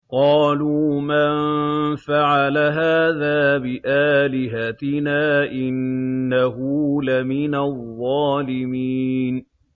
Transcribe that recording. قَالُوا مَن فَعَلَ هَٰذَا بِآلِهَتِنَا إِنَّهُ لَمِنَ الظَّالِمِينَ